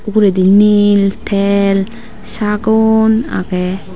ugredi nil tel sagon agey.